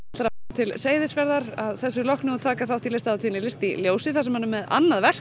til Seyðisfjarðar að þessu loknu og taka þátt í listahátíðinni list í ljósi þar sem hann er með annað verk